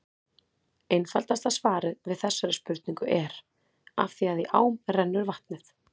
Einfaldasta svarið við þessari spurningu er: Af því að í ám rennur vatnið!